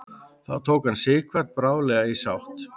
þó tók hann sighvat bráðlega í sátt